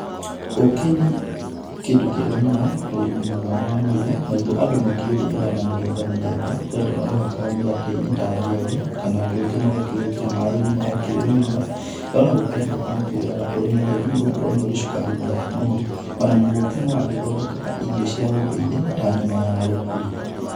Ũkĩ nĩ kĩndũ kĩega mũno harĩ ũgima mwega wa mwĩrĩ, naguo andũ makĩũrĩaga namĩthemba mĩthemba, kwĩ andũ maũhakaga mĩgate-inĩ ta thiagĩ, kana andũ angĩ magakĩwĩkĩra maaĩ-inĩ magakĩũnyua, kana ona gũkĩrĩ andũ angĩ makĩũrĩaga ũrĩmũtheri, nĩ gũkorwo nĩũrĩ cukari mũthaka mũno, ona ũkĩ nĩwagĩthondekaga irio cia ũndũire, ta nyama ya rũkũri.